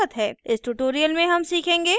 इस tutorial में हम सीखेंगे